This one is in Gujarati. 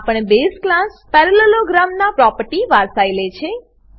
આ પણ બેઝ ક્લાસ પેરાલેલોગ્રામ નાં પ્રોપર્ટીની વારસાઈ લે છે